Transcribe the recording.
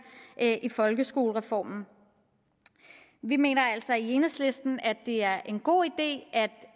i folkeskolereformen vi mener altså i enhedslisten at det er en god idé at